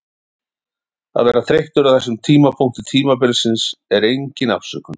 Að vera þreyttur á þessum tímapunkti tímabilsins er engin afsökun.